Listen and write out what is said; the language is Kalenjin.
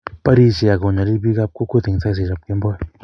barishei, ago nyalil biikap kokwet eng saishekab kemboi